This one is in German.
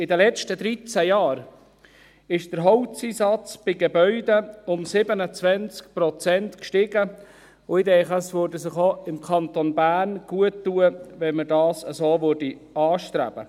In den letzten dreizehn Jahren ist der Holzeinsatz bei Gebäuden um 27 Prozent gestiegen, und ich denke, es täte auch dem Kanton Bern gut tun, wenn man das anstrebte.